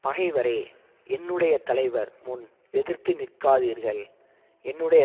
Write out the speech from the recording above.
பகைவரே என்னுடைய தலைவர் முன் எதிர்த்து நிற்காதீர்கள் என்னுடைய